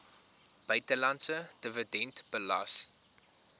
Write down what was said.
buitelandse dividend belas